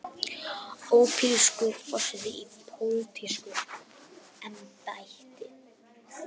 Ópólitískur forseti í pólitísku embætti.